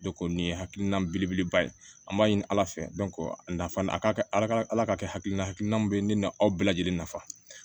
nin ye hakilina belebeleba ye an b'a ɲini ala fɛ dɔn a nafa a ka ala ala ka kɛ hakilina hakilina min bɛ ne na aw bɛɛ lajɛlen nafa